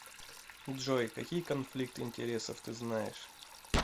джой какие конфликт интересов ты знаешь